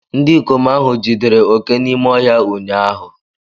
Ndị ikom ahụ jidere óké òké n'ime ọhịa ụnyahụ